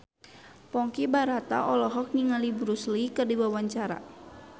Ponky Brata olohok ningali Bruce Lee keur diwawancara